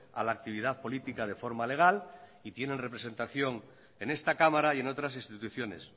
a la actividad política de forma legal y tienen representación en esta cámara y en otras instituciones